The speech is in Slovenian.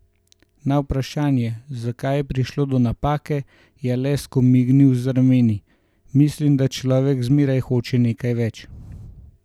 Na vprašanje, zakaj je prišlo do napake, je le skomignil z rameni: "Mislim, da človek zmeraj hoče nekaj več.